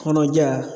Kɔnɔja